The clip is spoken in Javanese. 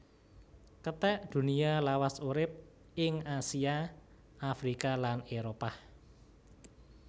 Kethek Dunia lawas urip ing Asia Afrika lan Éropah